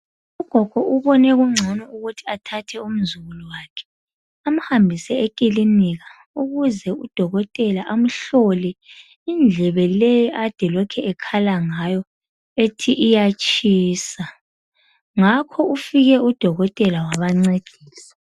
Ugogo ubone kungcono ukuthi athathe umzukulu wakhe amhambise ekilinika ukuze udokotela amhlole indlebe le ade elokhu ekhala ngayo ethi iyatshisa ngakho ufike udokotela wabancedisa.